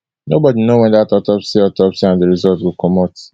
nobodi know wen dat autopsy autopsy and di result go comot